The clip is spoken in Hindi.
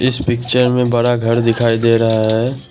इस पिक्चर में बड़ा घर दिखाई दे रहा है।